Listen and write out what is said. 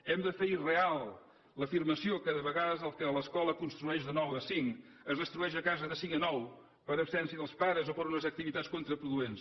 hem de fer irreal l’afirmació que de vegades el que l’escola construeix de nou a cinc es destrueix a casa de cinc a nou per absència dels pares o per unes activitats contraproduents